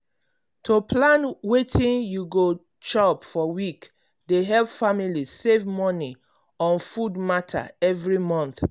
to plan wetin you go chop for week dey help family save moni on food matter every month.